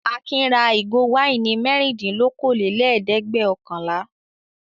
Akin ra ìgò wáìnì mẹ́rìndínlókòólẹ́ẹ̀dẹ́gbẹ̀ọ̀kànlá.